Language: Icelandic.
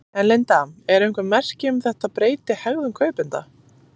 En Linda eru einhver merki um þetta breyti hegðun kaupenda?